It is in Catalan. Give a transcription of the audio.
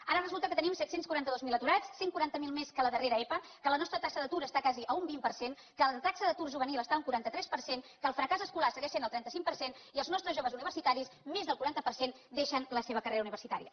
ara resulta que tenim set cents i quaranta dos mil aturats cent i quaranta miler més que la darrera epa que la nostra taxa d’atur està quasi a un vint per cent que la taxa d’atur juvenil està a un quaranta tres per cent que el fracàs escolar segueix sent el trenta cinc per cent i els nostres joves universitaris més del quaranta per cent deixen la seva carrera universitària